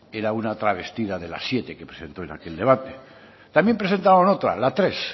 era una travestida de la siete que presentó en aquel debate también presentaban otra la tres